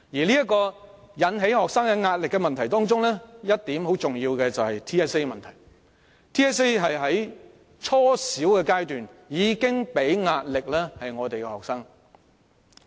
在引起學生壓力的問題中，相當重要的一點是 TSA 的問題，它在初小階段已為學生帶來壓力。